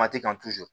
Mati kan